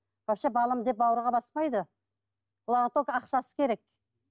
вообще балам деп бауырға баспайды оларға только ақшасы керек